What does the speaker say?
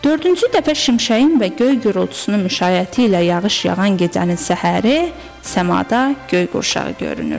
Dördüncü dəfə şimşəyin və göy gurultusunun müşayiəti ilə yağış yağan gecənin səhəri səmada göy qurşağı görünür.